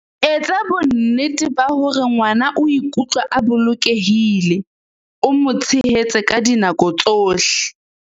Etsa bonnete ba hore ngwana o ikutlwa a bolokehile, o mo tshehetse ka dinako tsohle.